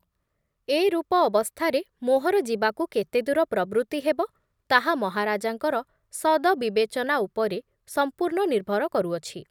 ଏ ରୂପ ଅବସ୍ଥାରେ ମୋହର ଯିବାକୁ କେତେଦୂର ପ୍ରବୃତ୍ତି ହେବ ତାହା ମହାରାଜାଙ୍କର ସଦବିବେଚନା ଉପରେ ସମ୍ପୂର୍ଣ୍ଣ ନିର୍ଭର କରୁଅଛି ।